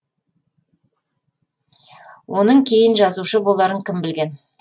оның кейін жазушы боларын кім білген